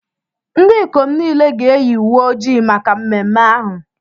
Ndị ikom niile ga-eyi uwe ojii ojii maka mmemme ahụ.